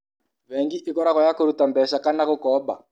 Bengi ĩkoragũo ya kũruta mbeca kana ya gũkomba.